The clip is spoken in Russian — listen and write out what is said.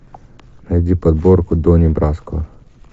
найди подборку донни браско